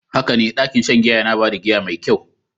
Haka ne, ɗakin shan giya yana ba da giya mai kyau.